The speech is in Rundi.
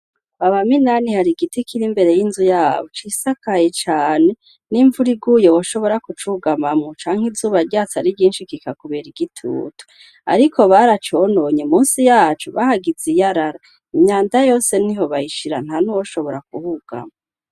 Kwaba Minani har'igiti kiri imbere y'inzu yabo cisakaye cane, n'imvura iguye woshobora kucugamamwo canke izuba ryatse ari ryinshi kikakuber'igitutu. Ariko baracononye munsi yaco bahagise iyarara imyanda yose niho bayishira ntanuwoshobora kuhugama.